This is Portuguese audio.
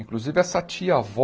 Inclusive, essa tia-avó,